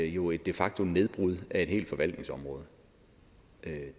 jo er et de facto nedbrud af et helt forvaltningsområde det